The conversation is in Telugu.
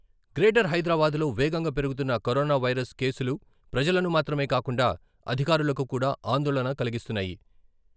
గ్రేటర్ హైదరాబాద్లో వేగంగా పెరుగుతున్న కరోనావైరస్ కేసులు ప్రజలను మాత్రమే కాకుండా అధికారులకు కూడా ఆందోళన కలిగిస్తున్నాయి.